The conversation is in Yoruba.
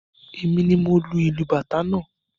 Èmi ni mo lu ìlù Bàtá náà.